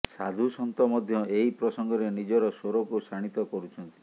ସାଧୁସନ୍ଥ ମଧ୍ୟ ଏହି ପ୍ରସଙ୍ଗରେ ନିଜର ସ୍ୱରକୁ ଶାଣିତ କରୁଛନ୍ତି